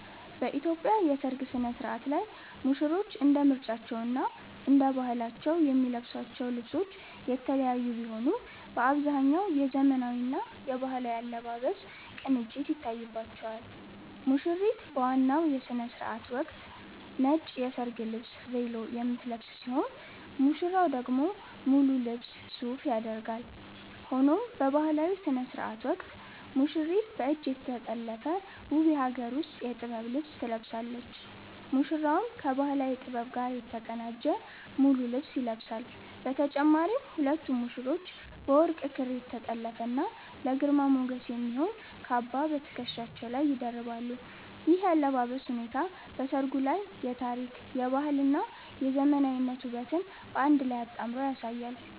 በኢትዮጵያ የሠርግ ሥነ-ሥርዓት ላይ ሙሽሮች እንደ ምርጫቸውና እንደ ባህላቸው የሚለብሷቸው ልብሶች የተለያዩ ቢሆኑም፣ በአብዛኛው የዘመናዊና የባህላዊ አለባበስ ቅንጅት ይታይባቸዋል። ሙሽሪት በዋናው የሥነ-ሥርዓት ወቅት ነጭ የሰርግ ልብስ 'ቬሎ' የምትለብስ ሲሆን፣ ሙሽራው ደግሞ ሙሉ ልብስ 'ሱፍ' ያደርጋል። ሆኖም በባህላዊው ሥነ-ሥርዓት ወቅት ሙሽሪት በእጅ የተጠለፈ ውብ የሀገር ውስጥ የጥበብ ልብስ ትለብሳለች፤ ሙሽራውም ከባህላዊ ጥበብ ጋር የተቀናጀ ሙሉ ልብስ ይለብሳል። በተጨማሪም ሁለቱም ሙሽሮች በወርቅ ክር የተጠለፈና ለግርማ ሞገስ የሚሆን "ካባ" በትከሻቸው ላይ ይደርባሉ። ይህ የአለባበስ ሁኔታ በሠርጉ ላይ የታሪክ፣ የባህልና የዘመናዊነት ውበትን በአንድ ላይ አጣምሮ ያሳያል።